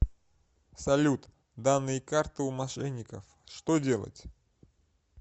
салют данные карты у мошенников что делать